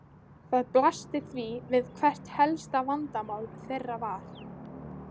Það blasti því við hvert helsta vandamál þeirra var.